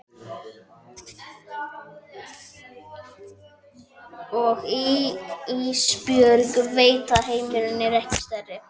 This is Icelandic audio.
Og Ísbjörg veit að heimurinn er ekki stærri.